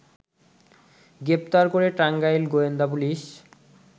গ্রেপ্তার করে টাঙ্গাইল গোয়েন্দা পুলিশ